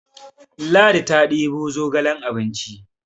Ladi ta debo zogalen abinci